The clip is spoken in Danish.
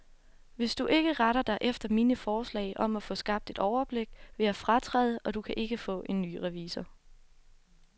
Hvis du ikke retter dig efter mine forslag om at få skabt et overblik, vil jeg fratræde, og du kan ikke få en ny revisor.